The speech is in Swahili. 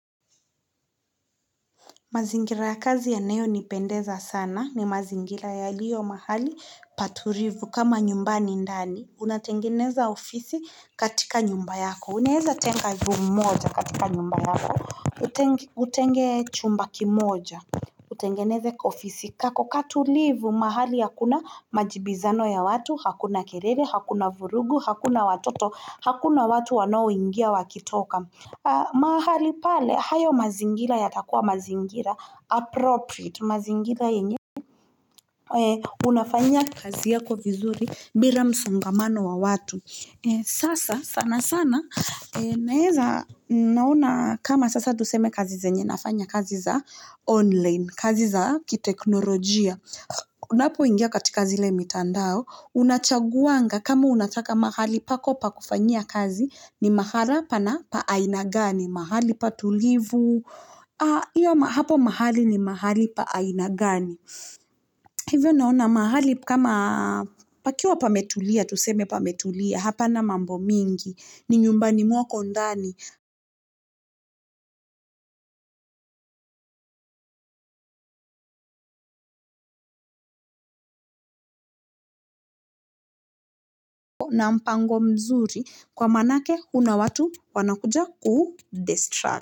Mazingira ya kazi yanayonipendeza sana ni mazingira yaliyo mahali patulivu kama nyumbani ndani unatengeneza ofisi katika nyumba yako unaezatenga room moja katika nyumba yako utenge utenge chumba kimoja utengeneze kaofisi kako katulivu mahali hakuna majibizano ya watu hakuna kelele hakuna vurugu hakuna watoto hakuna watu wanaoingia wakitoka mahali pale hayo mazingira yatakuwa mazingira appropriate mazingira yenye unafanyia kazi yako vizuri bila msongamano wa watu Sasa, sana sana naweza naona kama sasa tuseme kazi zenye nafanya kazi za online kazi za kiteknolojia unapoingia katika zile mitandao unachagua kama unataka mahali pako pa kufanya kazi ni mahala pa aina gani mahali patulivu hapo mahali ni mahali pa aina gani hivyo naona mahali kama pakiwa pametulia tuseme pametulia hapana mambo mengi ni nyumbani mwako ndani na mpango mzuri kwa maanake hakuna watu wanakuja kudestruct.